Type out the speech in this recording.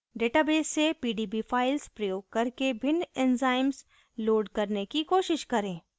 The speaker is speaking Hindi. database से pdb files प्रयोग करके भिन्न enzymes load करने की कोशिश करें